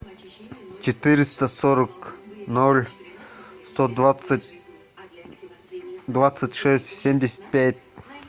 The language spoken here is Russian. четыреста сорок ноль сто двадцать двадцать шесть семьдесят пять